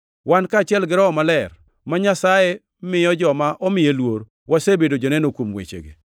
Wan, kaachiel gi Roho Maler, ma Nyasaye miyo joma omiye luor wasebedo joneno kuom wechegi.”